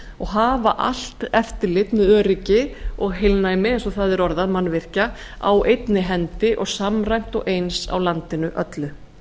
og hafa allt eftirlit með öryggi og heilnæmi eins og það er orðað mannvirkja á einni hendi og samræmt og eins á landinu öllu